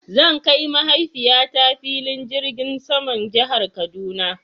Zan kai mahaifiya ta filin jirgin saman jihar kaduna